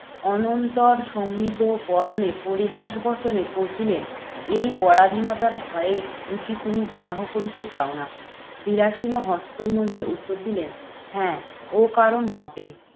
অনন্তর সম্মিলিত বদনে পরিহাস বচনে কহিলেন, এই পরাধীনতার ভয়ে বুঝি তুমি বিবাহ করিতে চাও না? বিলাসিনী হস্ত উত্তর দিলেন, হ্যাঁ ও কারণ বটে।